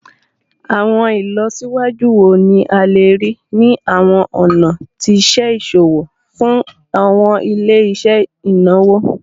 Awọn ilọsiwaju wo ni a le rii ni awọn ọna ti iṣe iṣowo fun awọn ile-iṣẹ inawo?